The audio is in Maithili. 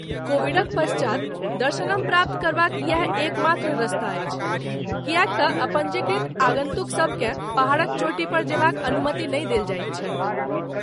कोविडक पश्चात, दर्शनम प्राप्त करबाक इएह एकमात्र रस्ता अछि , किएक तँ अपँजीकृत आगन्तुकसभ केँ पहाड़क चोटीपर जयबाक अनुमति नहि देल जाइत छनि।